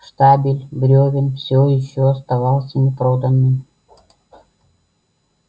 штабель брёвен всё ещё оставался непроданным